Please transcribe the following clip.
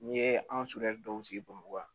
N'i ye an dɔw sigi bamakɔ yan